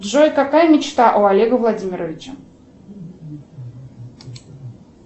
джой какая мечта у олега владимировича